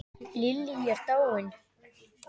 Lillý er dáin.